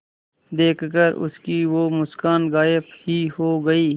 देखकर उसकी वो मुस्कान गायब ही हो गयी